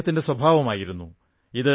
ഇത് അദ്ദേഹത്തിന്റെ സ്വഭാവമായിരുന്നു